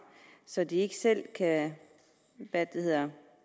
så de ikke selv kan